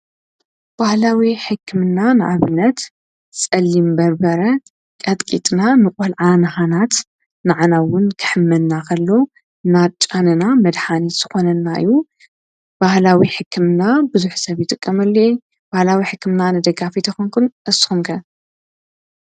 ብህኣስምገክምና ንዓብነት ጸሊም በርበረ ቀጥቂጥና ምቖልዓ ንሃናት ንዕናውን ክሕመናኸሎ ናጫነና መድሃኒት ስኾነናዩ ባህላዊ ሕክምና ብዙኅ ሰብይተቕመልየ ባሃላዊ ሕክምና ነደጋፊ ተኾንኩን ኣስምገ።